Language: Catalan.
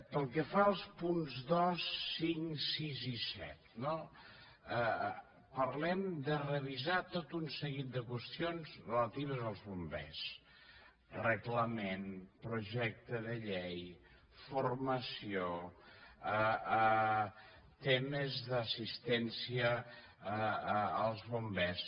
pel que fa als punts dos cinc sis i set no parlem de revisar tot un seguit de qüestions relatives als bombers reglament projecte de llei formació temes d’assistència als bombers